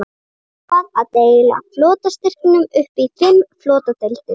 Hann ákvað að deila flotastyrknum upp í fimm flotadeildir.